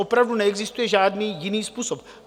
Opravdu neexistuje žádný jiný způsob.